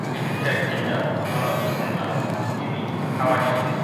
Xididka ginger waxaa loo isticmaalaa sidii xawaash.